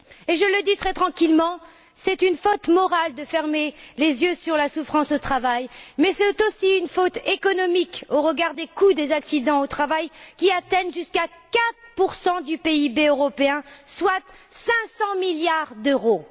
Je le dis très tranquillement c'est une faute morale de fermer les yeux sur la souffrance au travail, mais c'est aussi une faute économique au regard des coûts des accidents du travail, qui atteignent jusqu'à 4 du PIB européen, soit 500 milliards d'euros.